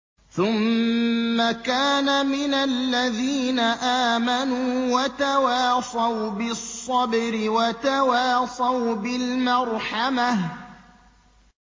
ثُمَّ كَانَ مِنَ الَّذِينَ آمَنُوا وَتَوَاصَوْا بِالصَّبْرِ وَتَوَاصَوْا بِالْمَرْحَمَةِ